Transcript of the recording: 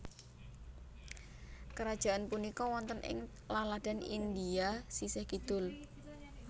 Krajaan punika wonten ing laladan India sisih kidul